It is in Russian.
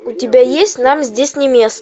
у тебя есть нам здесь не место